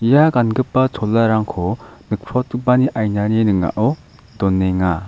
ia gangipa cholarangko nikprotgipani ainani ning·ao donenga.